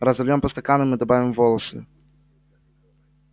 разольём по стаканам и добавим волосы